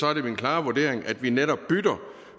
er det min klare vurdering at vi netop bytter